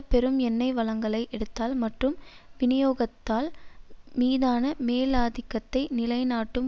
பெரும் எண்ணெய் வளங்களை எடுத்தல் மட்டும் விநியோகத்தால் மீதான மேலாதிக்கத்தை நிலை நாட்டும்